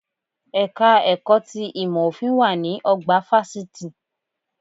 Ẹ̀ka ẹ̀kọ́ ti ìmọ̀ òfin wà ní ọgbà fásitì